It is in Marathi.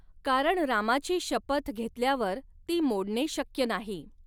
कारण रामाची शपथ घेतल्यावर ती मोडणे शक्य नाही.